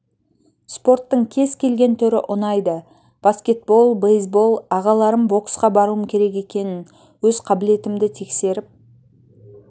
спорттың кез келген түрі ұнайды баскетбол бейсбол ағаларым боксқа баруым керек екенін өз қабілетімді тексеріп